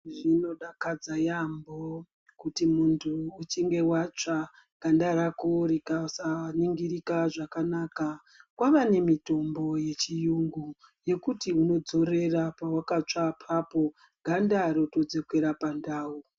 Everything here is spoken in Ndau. Zvinodakadza yambo, kuti muntu uchinge watsva ganda rako rikasaningirika zvakanaka. Kwava nemitombo yechiyungu yekuti unodzorera pawakatsva papo, ganda rekudzokera pandau.